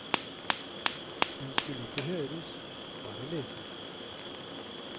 Den skulle ikke høres, bare leses.